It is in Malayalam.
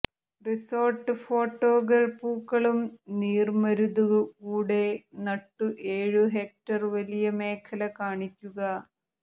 റിസോർട്ട് ഫോട്ടോകൾ പൂക്കളും നീർമരുതു കൂടെ നട്ടു ഏഴു ഹെക്ടർ വലിയ മേഖല കാണിക്കുക